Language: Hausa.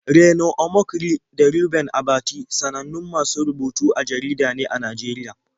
Reno Omokri da Reuben Abati sanannun masu rubutu a jarida ne a Najeriya.